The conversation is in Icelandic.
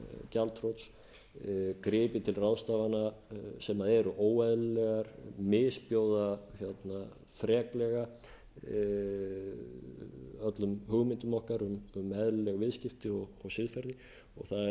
gjaldþrots gripið til ráðstafana sem eru óeðlilegar misbjóða freklega öllum hugmyndum okkar um eðlileg viðskipti og siðferði og það er ekki nema sjálfsagt og eðlilegt